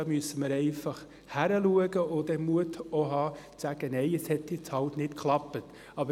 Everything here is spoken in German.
Da müssen wir hinschauen und auch den Mut haben, Nein zu sagen und einzugestehen, dass es nun mal nicht funktioniert hat.